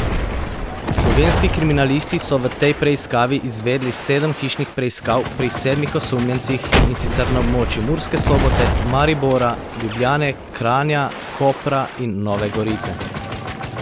Slovenski kriminalisti so v tej preiskavi izvedli sedem hišnih preiskav pri sedmih osumljencih in sicer na območju Murske Sobote, Maribora, Ljubljane, Kranja, Kopra in Nove Gorice.